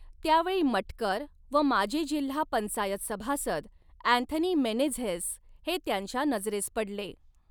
त्यावेळी मटकर व माजी जिल्हा पंचायत सभासद अँथनी मेनेझेस हे त्यांच्या नजरेस पडले.